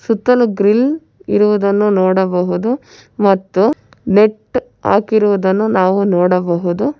ಸುತ್ತಲೂ ಗ್ರಿಲ್ ಇರುವುದನ್ನು ನೋಡಬಹುದು ಮತ್ತು ನೆಟ್ ಆಕಿರುದನ್ನು ನಾವು ನೋಡಬಹುದು.